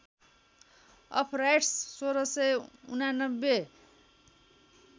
of rights १६८९